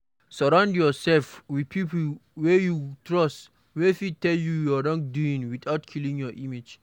Sorround yourself with pipo wey you trust wey fit tell you your wrong without killing your image